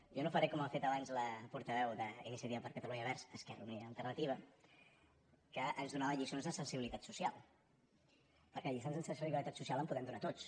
jo no faré com ha fet abans la portaveu d’iniciativa per catalunya verds esquerra unida i alternativa que ens donava lliçons de sensibilitat social perquè de lliçons de sensibilitat social en podem donar tots